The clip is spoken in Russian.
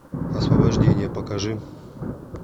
освобождение покажи